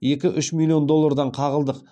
екі үш миллион доллардан қағылдық